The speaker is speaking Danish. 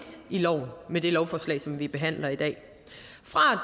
i loven med det lovforslag som vi behandler i dag fra